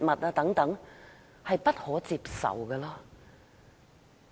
這安排是不可接受的。